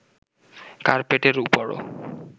কার্পেটের উপরও